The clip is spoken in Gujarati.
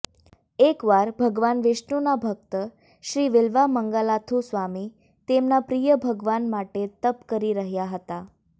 એકવાર ભગવાન વિષ્ણુના ભક્ત શ્રી વિલ્વામંગાલાથુ સ્વામી તેમના પ્રિય ભગવાન માટે તપ કરી રહ્યા હતા